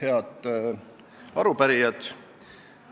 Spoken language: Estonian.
Head arupärijad!